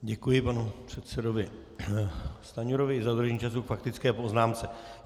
Děkuji panu předsedovi Stanjurovi za dodržení času k faktické poznámce.